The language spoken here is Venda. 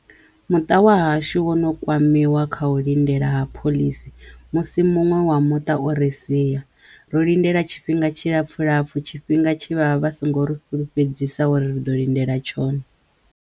Muṱa wa hashu wo no kwamiwa kha u lindela ha phoḽisi musi muṅwe wa muṱa o ri siya ro lindela tshifhinga tshi lapfu lapfu tshifhinga tshe vha vha vha songo ri fhulufhedzisa uri ri ḓo lindela tshone.